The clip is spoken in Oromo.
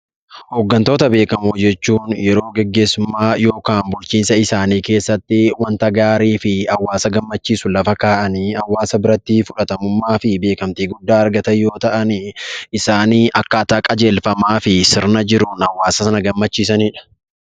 Hoggantoota beekamoo jechuun yeroo gaggeessummaa yookiin bulchiinsaa isaanii keessatti wanta gaarii fi hawwaasa gammachiisu lafa ka'aanii hawwaasa biratti fudhatamummaa fi beekkamtii argachuu beekamtii guddaa argatan yammuu ta'an; isaan akkaata qajeelfamaa fi sirna jiruun hawwaasa sana gammachiisaniidha.